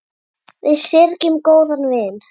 Við syrgjum góðan vin.